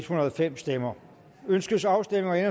hundrede og fem stemmer ønskes afstemning